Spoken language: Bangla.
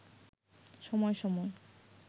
সময় সময়